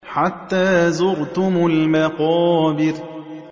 حَتَّىٰ زُرْتُمُ الْمَقَابِرَ